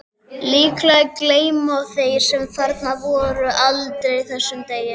Líklega gleyma þeir sem þarna voru aldrei þessum degi.